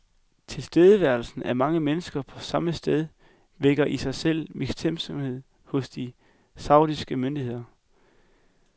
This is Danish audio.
Tilstedeværelsen af mange mennesker på samme sted vækker i sig selv mistænksomhed hos de saudiske myndigheder.